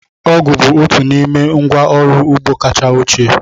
Ọgụ̀ bụ otu n'ime ngwa ọrụ ugbo kacha ochie.